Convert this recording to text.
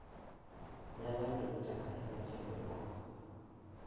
Nyalo yudo ni tek ahinya tieko ywak,